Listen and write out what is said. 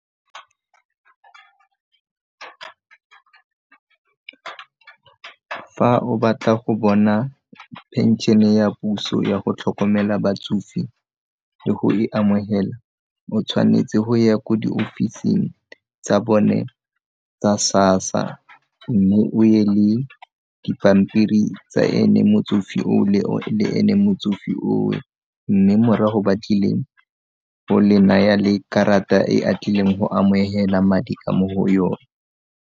Fa o batla go bona phenšene ya puso ya go tlhokomela batsofe le go e amogela o tshwanetse go ya ko diofising tsa bone tsa SASSA mme o ye le dipampiri tsa ene motsofe o le ene motsofe o o, mme morago ba tlile go le naya le karata e a tlileng go amogela madi a mo go yone.